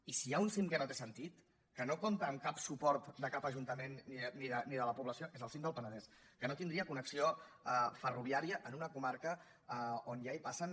i si hi ha un cim que no té sentit que no compta amb cap suport de cap ajuntament ni de la població és el cim del penedès que no tindria connexió ferroviària en una comarca on ja hi passen